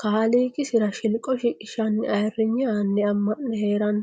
kaaliiqisira shilqo shiqishanni ayirrinye aani ama'ne heerano.